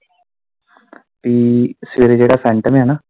ਕੀ ਸਵੇਰੇ ਜਿਹੜਾ ਸੈਟਮ ਐ ਨਾ।